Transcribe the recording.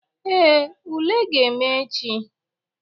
Ee, ule ka ga-eme echi.